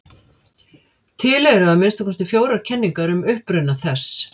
Til eru að minnsta kosti fjórar kenningar um uppruna þess.